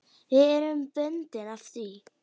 Við erum bundin af því.